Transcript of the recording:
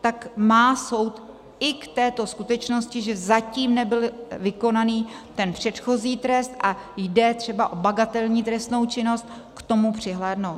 tak má soud i k této skutečnosti, že zatím nebyl vykonán ten předchozí trest a jde třeba o bagatelní trestnou činnost, k tomu přihlédnout.